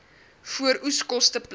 vooroeskoste plant